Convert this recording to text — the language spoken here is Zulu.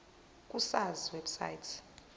ku sars website